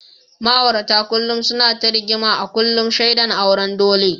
Ma’aurata kullum suna ta rigima a kullum, shaidan auren dole.